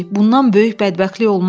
Bundan böyük bədbəxtlik olmaz.